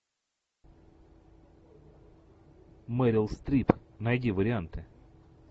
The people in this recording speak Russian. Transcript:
мерил стрип найди варианты